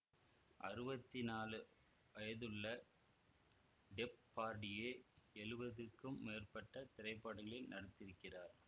அறுவத்தி நாலு வயதுள்ள டெப்பார்டியே எழுவதுக்கும் மேற்பட்ட திரைப்படங்களில் நடித்திருக்கிறார்